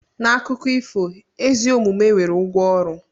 N'akụkọ ifo, ezi omume nwere ụgwọ ọrụ.